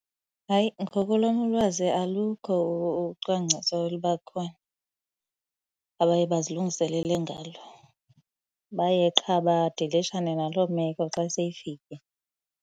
Hayi, ngokolwam ulwazi alukho ucwangciso oluba khona abaye bazilungiselele ngalo. Baye qha badilishane naloo meko xa seyifikile.